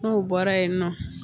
N'o bɔra yen nɔ